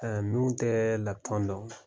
A minnu tɛ lapitɔn dɔn